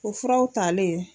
O furaw talen.